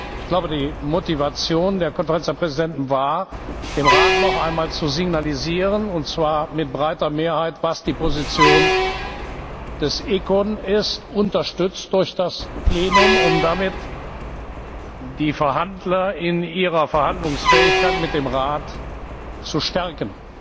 Ich glaube, die Motivation der Konferenz der Präsidenten war, dem Rat noch einmal zu signalisieren, und zwar mit breiter Mehrheit, was die Position des ECON ist unterstützt durch das Plenum um damit die Verhandler in ihrer Verhandlungsfähigkeit mit dem Rat zu stärken.